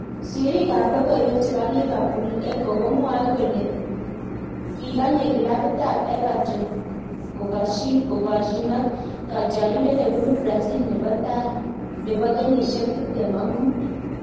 Sirriik ab lokoiwek chebo Liverpool Echo komwae kole kikanye klabit ab Everton kokasyin ak katyarindet nebunu Brazil nebo tai nebo kenyisiek tiptem ak muut